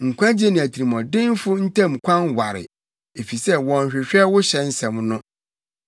Nkwagye ne atirimɔdenfo ntam kwan ware, efisɛ wɔnhwehwɛ wo hyɛ nsɛm no.